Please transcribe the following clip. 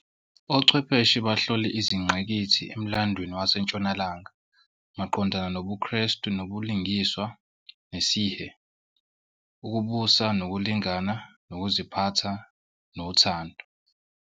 Ochwepheshe bahlole izingqikithi emlandweni waseNtshonalanga maqondana nobuKrestu nobulungiswa nesihe, ukubusa nokulingana, nokuziphatha nothando.